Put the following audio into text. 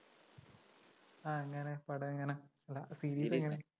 ആ എങ്ങനെ? പടമെങ്ങനെ? series എങ്ങനെ?